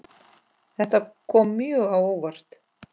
Þetta kom mjög á óvart.